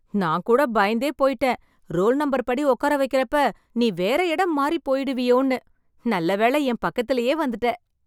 நான் கூட பயந்தே போயிட்டேன் .ரோல் நம்பர் படி உட்கார வைக்கிறப்ப நீ வேற இடம் மாறி போயிடுவியோன்னு.நல்லபடியா என் பக்கத்திலேயே வந்துட்ட